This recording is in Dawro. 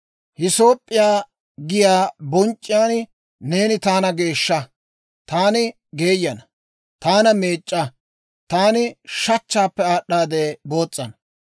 Hiisoop'p'iyaa giyaa bonc'c'iyaan neeni taana geeshsha; taani geeyana. Taana meec'c'a; taani shachchaappe aad'd'aade boos's'ana.